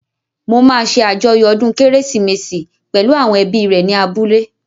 Mo máa ṣé àjọyọ̀ ọdún kérésìmesì pẹ̀lú àwọn ẹbí rẹ̀ ní abúlé